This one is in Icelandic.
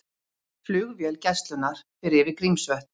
Flugvél Gæslunnar fer yfir Grímsvötn